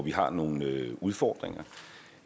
vi har nogle udfordringer